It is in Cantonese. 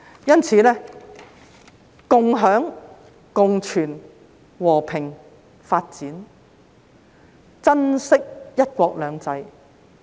因此，要共享、共存、和平、發展，珍惜"一國兩制"。